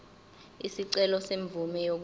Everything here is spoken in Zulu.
isicelo semvume yokuba